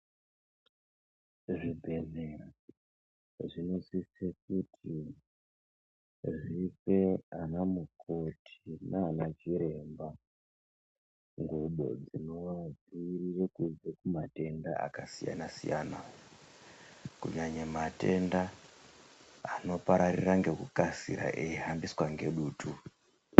Zvibhedhlera zvinosise kuti zvipe ana mukoti nanachiremba ngubo dzinoadziirira kubve kumatenda akasiyana siyana, kunyanya matenda anopararira ngekukasira eihambiswa ngedutu.